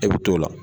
E bi t'o la